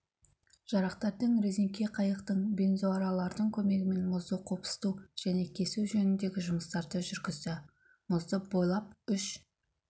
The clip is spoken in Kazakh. жарақтардың резеңке қайықтың бензоаралардың көмегімен мұзды қопсыту және кесу жөніндегі жұмыстарды жүргізді мұзды бойлап үш